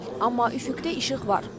Amma üfüqdə işıq var.